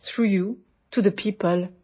সোনকালে দেখা হম